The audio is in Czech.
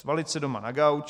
Svalit se doma na gauč.